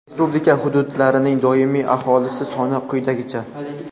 respublika hududlarining doimiy aholisi soni quyidagicha:.